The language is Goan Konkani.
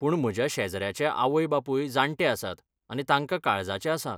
पूण म्हज्या शेजाऱ्याचे आवय बापूय जाण्टे आसात आनी तांकां काळजाचें आसा.